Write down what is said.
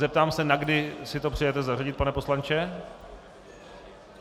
Zeptám se, na kdy si to přejete zařadit, pane poslanče.